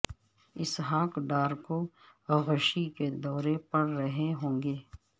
اسحاق ڈار کو غشی کے دورے پڑ رہے ہوں گے